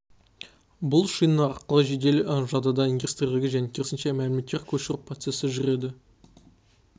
бұл шина арқылы жедел жадыдан регистрлерге және керісінше мәліметтерді көшіру процесі жүреді